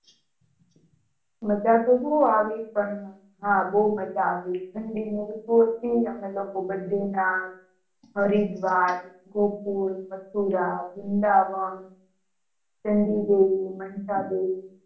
મજા તો બૌ આવી પણ, હા બૌ મજા આવી ઠંડી ની ઋતુ હતી અમે લોકો ભાદ્રીનાથ, હરિદ્વાર, ગોકુળ, મથુરા, વૃંદાવન, .